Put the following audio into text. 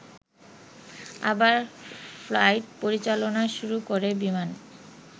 আবার ফ্লাইট পরিচালনা শুরু করে বিমান